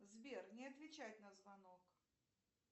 сбер не отвечает на звонок